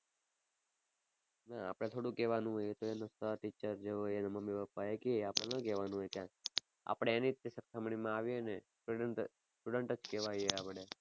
ના આપડે થોડું કેવાનું હોય. એ તો એના sir teacher જે હોય એના મમ્મી પપ્પા એ કે આપણે ના કેવાનું હોય કઈ. આપણે એની સરખામણી માં આવીએ ને student student જ કેવાઈએ આપણે.